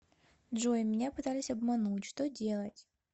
джой меня пытались обмануть что делать